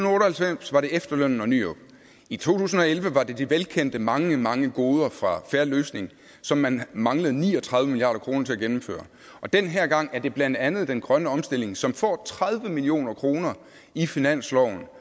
og halvfems var det efterlønnen og nyrup i to tusind og elleve var det de velkendte mange mange goder fra fair løsning som man manglede ni og tredive milliard kroner til at gennemføre og den her gang er det blandt andet den grønne omstilling som får tredive million kroner i finansloven og